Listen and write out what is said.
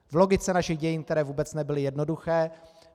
V logice našich dějin, které vůbec nebyly jednoduché.